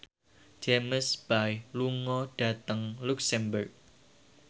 James Bay lunga dhateng luxemburg